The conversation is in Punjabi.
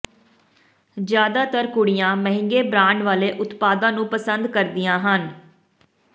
ਜ਼ਿਆਦਾਤਰ ਕੁੜੀਆਂ ਮਹਿੰਗੇ ਬ੍ਰਾਂਡ ਵਾਲੇ ਉਤਪਾਦਾਂ ਨੂੰ ਪਸੰਦ ਕਰਦੀਆਂ ਹਨ